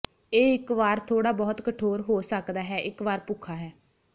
ਇਹ ਇੱਕ ਵਾਰ ਥੋੜਾ ਬਹੁਤ ਕਠੋਰ ਹੋ ਸਕਦਾ ਹੈ ਇੱਕ ਵਾਰ ਭੁੱਖਾ ਹੈ